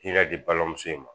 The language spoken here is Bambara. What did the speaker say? K'i ka di balimamuso in ma